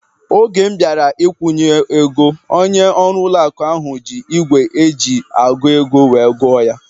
Oge m bịara ikwunye ego, onye ọrụ ụlọ akụ ahu ji ígwè eji agụ ego wee gụọ ya